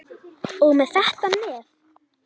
Og með þetta nef.